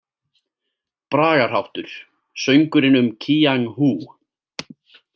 Bragarháttur: „Söngurinn um Kíang Hú“.